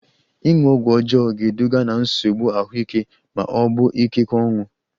Ịṅụ ọgwụ ọjọọ ga-eduga ná nsogbu ahụike ma ọ bụ ikekwe ọnwụ